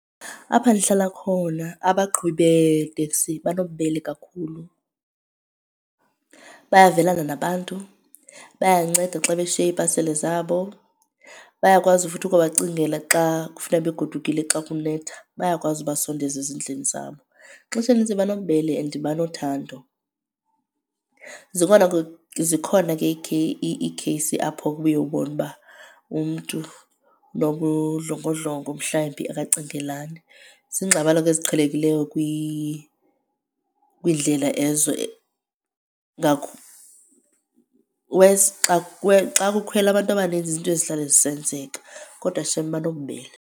Apha ndihlala khona abaqhubi beetekisi banobubele kakhulu. Bayavelana nabantu, bayanceda xa beshiye iipasile zabo. Bayakwazi futhi ukubacingela xa kufuneka begodukile xa kunetha, bayakwazi ubasondeza ezindlini zabo. Ixesha elininzi banobubele and banothando. Zikhona ke, zikhona ke iikheyisi apho kubuye ubone uba umntu unobudlongodlongo mhlambi akacingelani. Ziingxabano ke eziqhelekileyo kwindlela ezo wesi xa xa kukhwela abantu abaninzi zizinto ezihlala zisenzeka, kodwa shem banobubele.